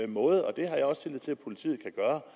måde og det har jeg også tillid til at politiet kan gøre